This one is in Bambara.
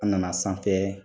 An nana sanfɛ